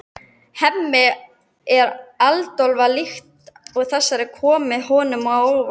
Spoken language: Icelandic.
Hemmi er agndofa líkt og þetta komi honum á óvart.